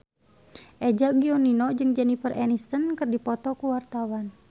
Eza Gionino jeung Jennifer Aniston keur dipoto ku wartawan